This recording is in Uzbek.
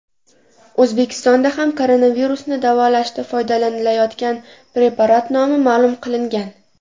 O‘zbekistonda ham koronavirusni davolashda foydalanilayotgan preparat nomi ma’lum qilingan .